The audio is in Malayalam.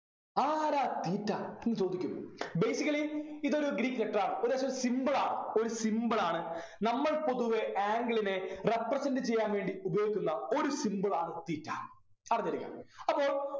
ആരാ theta എന്ന് ചോദിക്കും basically ഇതൊരു ഗ്രീക്ക് letter ആണ് ഒരു ഒരു symbol ആണ് ഒരു symbol ആണ് നമ്മൾ പൊതുവെ angle നെ represent ചെയ്യാൻ വേണ്ടി ഉപയോഗിക്കുന്ന ഒരു symbol ആണ് theta അറിഞ്ഞിരിക്കണം അപ്പൊ